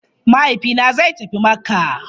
Mahaifina zai tafi Makka.